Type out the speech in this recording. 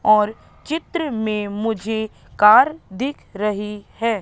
और चित्र में मुझे कार दिख रही है।